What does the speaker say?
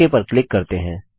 okay पर click करते हैं